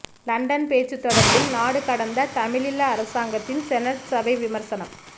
London பேச்சு தொடர்பில் நாடு கடந்த தமிழீழ அரசாங்கத்தின் செனட் சபை விமர்சனம்